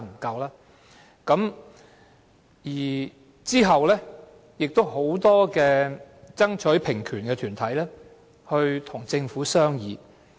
其後，很多爭取平權的團體與政府商議。